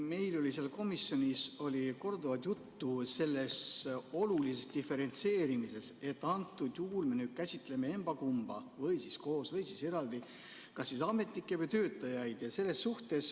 Meil oli komisjonis korduvalt juttu sellest olulisest diferentseerimisest, et antud juhul me nüüd käsitleme emba-kumba koos või siis eraldi, kas siis ametnikke või töötajaid.